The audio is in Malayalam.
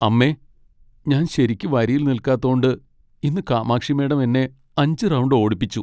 അമ്മേ, ഞാൻ ശരിയ്ക്ക് വരിയിൽ നിൽക്കാത്തോണ്ട്‌ ഇന്ന് കാമാക്ഷി മാഡം എന്നെ അഞ്ച് റൗണ്ട് ഓടിപ്പിച്ചു.